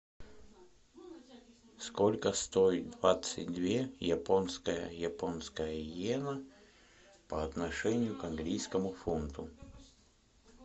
сколько стоит двадцать две японская японская йена по отношению к английскому фунту